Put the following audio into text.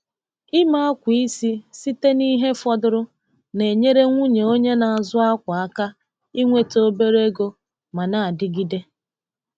Ịme akwa isi site na ihe fọdụrụ na-enyere nwunye onye na-azụ akwa aka inweta obere ego ma na-adịgide.